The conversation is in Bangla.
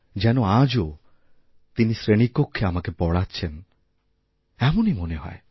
যেন আজও তিনি শ্রেণিকক্ষে আমাকে পড়াচ্ছেন এমনই মনে হয়